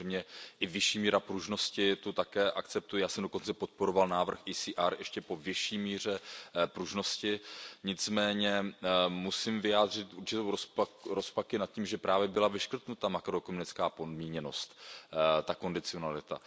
Samozřejmě i vyšší míra pružnosti, tu také akceptuji, já jsem dokonce podporoval návrh ECR týkající se ještě vyšší míry pružnosti, nicméně musím vyjádřit rozpaky nad tím, že právě byla vyškrtnuta ta makroekonomická podmíněnost, ta kondicionalita.